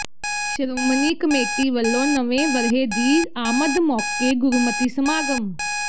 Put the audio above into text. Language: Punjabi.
ਸ਼੍ਰੋਮਣੀ ਕਮੇਟੀ ਵੱਲੋਂ ਨਵੇਂ ਵਰ੍ਹੇ ਦੀ ਆਮਦ ਮੌਕੇ ਗੁਰਮਤਿ ਸਮਾਗਮ